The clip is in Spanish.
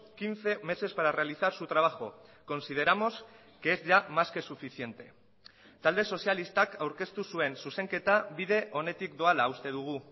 quince meses para realizar su trabajo consideramos que es ya más que suficiente talde sozialistak aurkeztu zuen zuzenketa bide onetik doala uste dugu